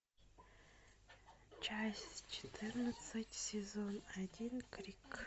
часть четырнадцать сезон один крик